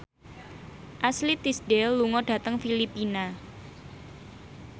Ashley Tisdale lunga dhateng Filipina